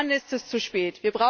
Dann ist es zu spät.